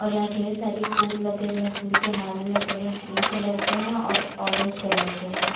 और यहाँ ढेर सारी फूल लगे हुए हैं फूल के माला लगे हुए हैं ग्रीन कलर के हैं और ऑरेंज कलर के हैं।